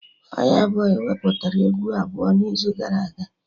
Fayabọy wepụtara egwu abụọ n'izu gara aga